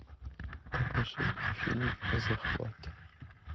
покажи фильм захват